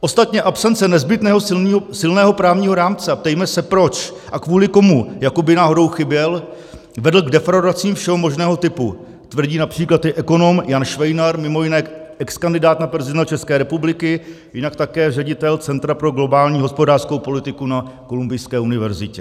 Ostatně absence nezbytného silného právního rámce, a ptejme se, proč a kvůli komu jakoby náhodou chyběl, vedla k defraudacím všeho možného typu, tvrdí například i ekonom Jan Švejnar, mimo jiné exkandidát na prezidenta České republiky, jinak také ředitel Centra pro globální hospodářskou politiku na Kolumbijské univerzitě.